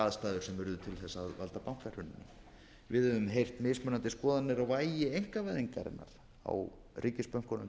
valda bankahruninu við höfum heyrt mismunandi skoðanir á vægi einkavæðingarinnar á ríkisbönkunum